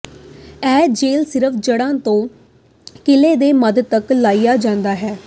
ਇਹ ਜੈੱਲ ਸਿਰਫ ਜੜ੍ਹਾਂ ਤੋਂ ਕਿਲ੍ਹੇ ਦੇ ਮੱਧ ਤੱਕ ਲਾਇਆ ਜਾਂਦਾ ਹੈ